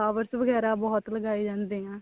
flowers ਵਗੈਰਾ ਬਹੁਤ ਲਗਾਏ ਜਾਂਦੇ ਆ